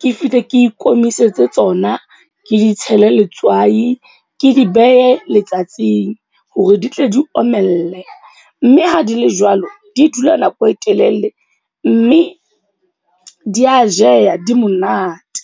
ke fihle ke ikomisetse tsona. Ke di tshele letswai, ke di behe letsatsing hore di tle di omelle. Mme ha di le jwalo, di dula nako e telele mme di ya jeha di monate.